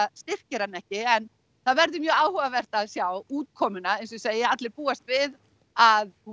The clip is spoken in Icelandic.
styrkir hana ekki en það verður mjög áhugavert að sjá útkomuna eins og ég segi allir búast við að hún